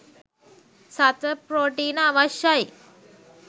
සත්ව ප්‍රෝටීන අවශ්‍යයි.